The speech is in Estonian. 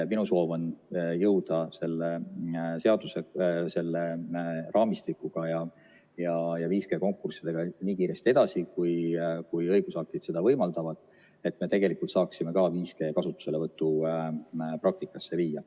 Minu soov on jõuda selle seaduse raamistikuga ja 5G konkurssidega nii kiiresti edasi, kui õigusaktid seda võimaldavad, et me saaksime 5G kasutuselevõtu ka praktikasse viia.